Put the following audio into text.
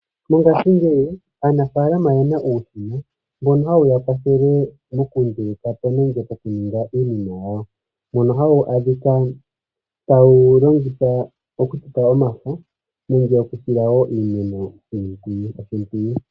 Mongashingeyi aanafalama oyena uushina mbono hawu ya kwathele yokunduluka po nenge moku ninga iinima yawo mono haye wu longitha okuteta iimeno omafo nenge okusila iimeno oshimpwiyu.